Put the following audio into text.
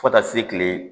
Fo taa se kile